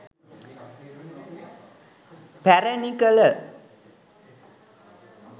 පැරැණි කළ